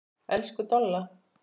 Elsku Dolla.